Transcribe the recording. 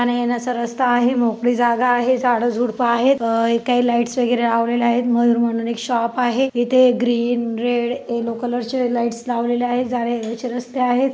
जाण्या येण्याच रस्ता आहे मोकळी जागा आहे झाडे झूड़प आहेत आ काही लाइटस वगैरे लवलेले आहेत मयूर म्हणून एक शॉप आहे इथे ग्रीन रेड येल्लो कलर चे लाइट्स लावलेले आहेत जाण्या येण्याचे रस्ते आहेत.